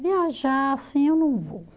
Viajar, assim, eu não vou.